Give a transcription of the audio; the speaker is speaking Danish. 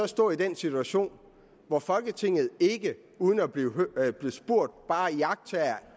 stå i den situation hvor folketinget ikke uden at blive spurgt bare iagttager